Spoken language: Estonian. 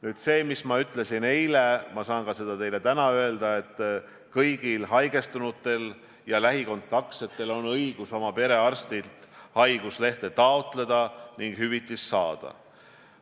Nüüd, nagu ma ütlesin eile, saan ka täna öelda, et kõigil haigestunutel ja nendega lähikontaktis olijatel on õigus oma perearstilt haiguslehte taotleda ning hüvitist saada.